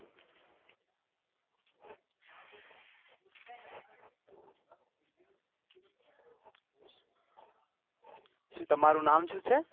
શું તમારું નામ શું છે?